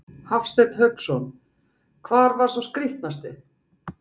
Hafsteinn Hauksson: Hvar var sá skrítnasti?